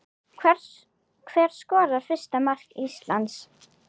Hver skorar fyrsta mark Íslands?